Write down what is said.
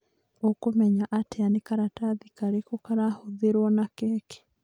Ũkũmenya atĩa nĩ karatathi karĩkũ karahũthĩrwo na keki